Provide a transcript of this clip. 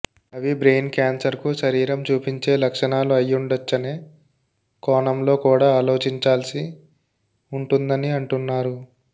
అవి బ్రెయిన్ క్యాన్సర్కు శరీరం చూపించే లక్షణాలు అయ్యిండొచ్చనే కోణంలో కూడా ఆలోచించాల్సి ఉంటుందని అంటున్నారు